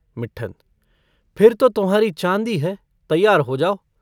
मिट्ठन - फिर तो तुम्हारी चाँदी है। तैयार हो जाओ।